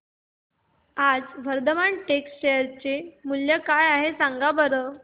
आज वर्धमान टेक्स्ट चे शेअर मूल्य काय आहे सांगा बरं